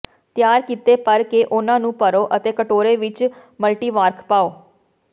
ਤਿਆਰ ਕੀਤੇ ਭਰ ਕੇ ਉਨ੍ਹਾਂ ਨੂੰ ਭਰੋ ਅਤੇ ਕਟੋਰੇ ਵਿੱਚ ਮਲਟੀਵਾਰਕ ਪਾਓ